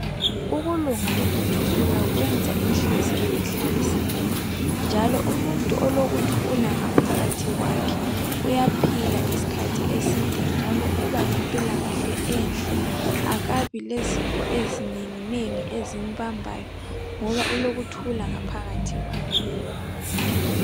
Ukulunga lokuthula kwenza inhliziyo ihlaliseke. Njalo, umuntu olukuthula ngaphakathi kwakhe, uyaphila iskhathi eside njalo uba lempilakahle enhle. Akabi lezifo ezinenginengi ezimbambayo ngoba ulokuthula ngaphakathi kwakhe.